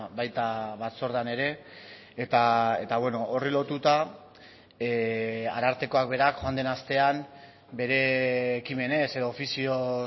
baita batzordean ere eta horri lotuta arartekoak berak joan den astean bere ekimenez edo ofizioz